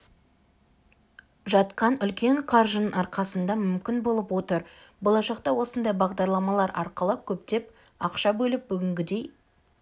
жатқан үлкен қаржының арқасында мүмкін болып отыр болашақта осындай бағдарламалар арқылы көптеп ақша бөліп бүгінгідей